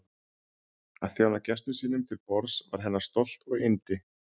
Að þjóna gestum sínum til borðs var hennar stolt og yndi.